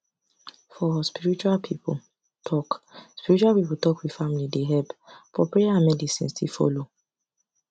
for spiritual people talk spiritual people talk with family dey help but prayer and medicine still follow